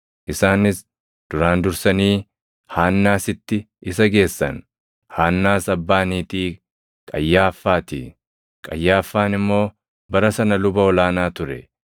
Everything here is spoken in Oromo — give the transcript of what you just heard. Isaanis duraan dursanii Haannaasitti isa geessan; Haannaas abbaa niitii Qayyaaffaa ti; Qayyaaffaan immoo bara sana luba ol aanaa ture.